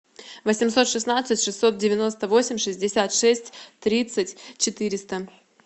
восемьсот шестнадцать шестьсот девяносто восемь шестьдесят шесть тридцать четыреста